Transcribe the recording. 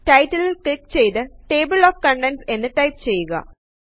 ടൈടലില് click ചെയ്തു table of contents എന്ന് type ചെയ്യുക